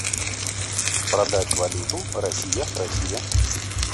продать валюту россия россия